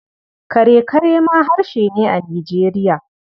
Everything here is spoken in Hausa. Kare-kare ma harshe ne a Nijeriya.